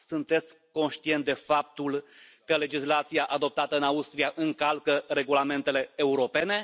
Sunteți conștient de faptul că legislația adoptată în Austria încalcă regulamentele europene?